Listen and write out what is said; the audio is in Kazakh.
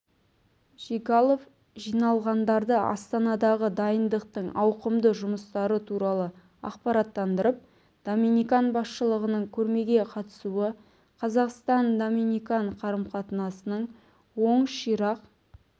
жигалов жиналғандарды астанадағы дайындықтың ауқымды жұмыстары туралы ақпараттандырып доминикан басшылығының көрмеге қатысуы қазақстан-доминикан қарым-қатынасының оң ширақ